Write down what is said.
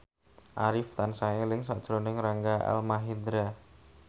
Arif tansah eling sakjroning Rangga Almahendra